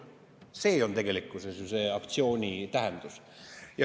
See on ju selle aktsiooni tähendus.